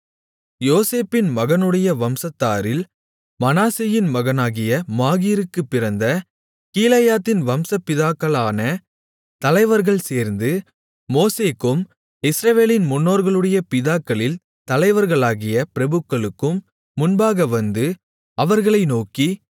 யோசேப்பின் மகனுடைய வம்சத்தாரில் மனாசேயின் மகனாகிய மாகீருக்குப் பிறந்த கீலேயாத்தின் வம்ச பிதாக்களான தலைவர்கள் சேர்ந்து மோசேக்கும் இஸ்ரவேலின் முன்னோர்களுடைய பிதாக்களில் தலைவர்களாகிய பிரபுக்களுக்கும் முன்பாக வந்து அவர்களை நோக்கி